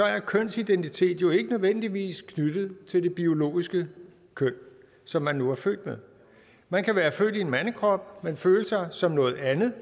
er kønsidentitet jo ikke nødvendigvis knyttet til det biologiske køn som man nu er født med man kan være født i en mandekrop men føle sig som noget andet